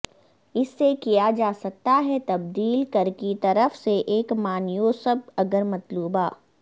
اس سے کیا جا سکتا ہے تبدیل کر کی طرف سے ایک مانیوسب اگر مطلوبہ